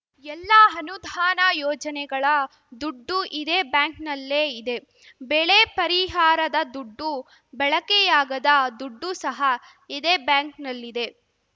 ಎಲ್ಲಾ ಅನುದಾನ ಯೋಜನೆಗಳ ದುಡ್ಡು ಇದೇ ಬ್ಯಾಂಕ್‌ನಲ್ಲೇ ಇದೆ ಬೆಳೆ ಪರಿಹಾರದ ದುಡ್ಡು ಬಳಕೆಯಾಗದ ದುಡ್ಡು ಸಹ ಇದೇ ಬ್ಯಾಂಕ್‌ನಲ್ಲಿದೆ